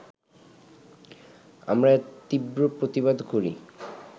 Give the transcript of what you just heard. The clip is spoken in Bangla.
আমরা এর তীব্র প্রতিবাদ করি